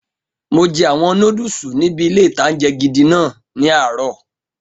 Mo jẹ àwọn nódùsù níbi ilé-ìtánjẹ gidi náà ní àárọ̀